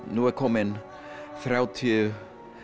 nú eru komnir þrjátíu